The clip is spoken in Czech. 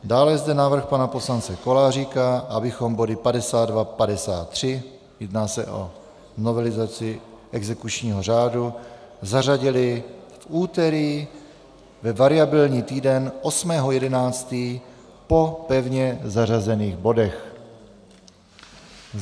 Dále je zde návrh pana poslance Koláříka, abychom body 52, 53 - jedná se o novelizaci exekučního řádu - zařadili v úterý ve variabilní týden 8. 11. po pevně zařazených bodech.